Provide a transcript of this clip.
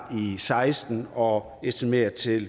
seksten og estimeret til